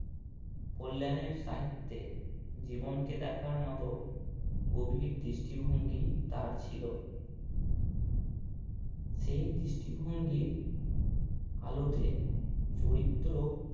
কল্যাণের সাহিত্যে জীবনকে দেখার মতো গভীর দৃষ্টি ভঙ্গি তার ছিল। সেই দৃষ্টি ভঙ্গির আলোতে চরিত্র